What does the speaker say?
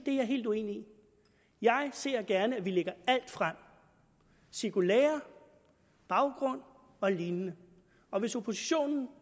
er jeg helt uenig i jeg ser gerne at vi lægger alt frem cirkulærer baggrund og lignende hvis oppositionen